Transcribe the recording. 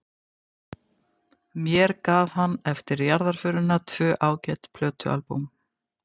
Mér gaf hann eftir jarðarförina tvö ágæt plötualbúm.